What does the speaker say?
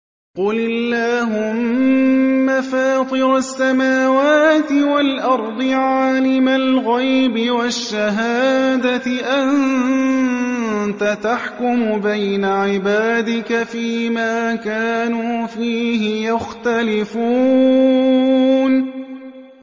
قُلِ اللَّهُمَّ فَاطِرَ السَّمَاوَاتِ وَالْأَرْضِ عَالِمَ الْغَيْبِ وَالشَّهَادَةِ أَنتَ تَحْكُمُ بَيْنَ عِبَادِكَ فِي مَا كَانُوا فِيهِ يَخْتَلِفُونَ